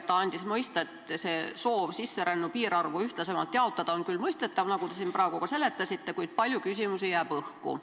Ta andis mõista, et soov sisserännu piirarvu ühtlasemalt jaotada on küll mõistetav, nagu te praegu ka siin seletasite, kuid palju küsimusi jääb õhku.